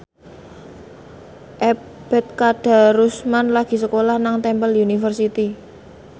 Ebet Kadarusman lagi sekolah nang Temple University